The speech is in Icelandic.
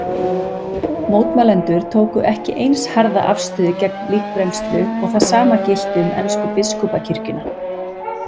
Mótmælendur tóku ekki eins harða afstöðu gegn líkbrennslu og það sama gilti um ensku biskupakirkjuna.